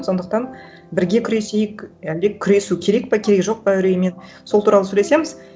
сондықтан бірге күресейік әлде күресу керек па керегі жоқ па үреймен сол туралы сөйлесеміз